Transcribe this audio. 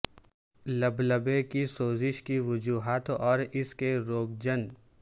لبلبے کی سوزش کی وجوہات اور اس کے روگجنن